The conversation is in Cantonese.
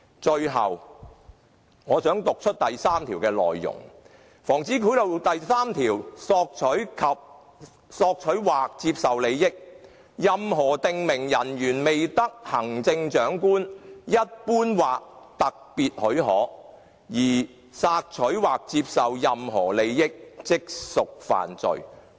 最後，我想讀出《防止賄賂條例》第3條的內容："索取或接受利益——任何訂明人員未得行政長官一般或特別許可而索取或接受任何利益，即屬犯罪"。